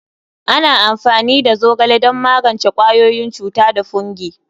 Ana amfani da zogale don magance ƙwayoyin cuta da fungi.